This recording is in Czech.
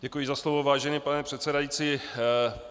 Děkuji za slovo, vážený pane předsedající.